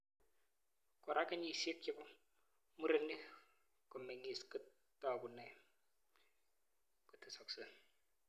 Koraa, kenyishek chepk murenik komeng'is kotakunei kotesoksei